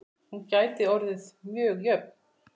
Hún gæti orðið mjög jöfn.